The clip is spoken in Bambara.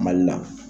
Mali la